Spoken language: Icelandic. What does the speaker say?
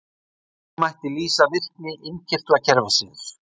Þannig mætti lýsa virkni innkirtlakerfisins.